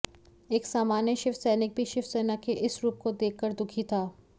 एक सामान्य शिव सैनिक भी शिवसेना के इस रूप को देख कर दुखी था